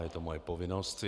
Je to moje povinnost.